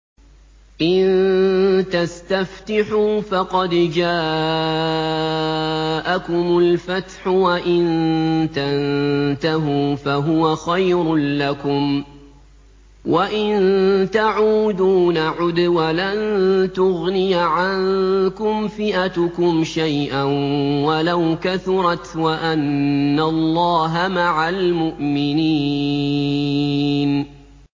إِن تَسْتَفْتِحُوا فَقَدْ جَاءَكُمُ الْفَتْحُ ۖ وَإِن تَنتَهُوا فَهُوَ خَيْرٌ لَّكُمْ ۖ وَإِن تَعُودُوا نَعُدْ وَلَن تُغْنِيَ عَنكُمْ فِئَتُكُمْ شَيْئًا وَلَوْ كَثُرَتْ وَأَنَّ اللَّهَ مَعَ الْمُؤْمِنِينَ